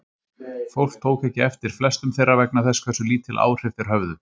Fólk tók ekki eftir flestum þeirra vegna þess hversu lítil áhrif þeir höfðu.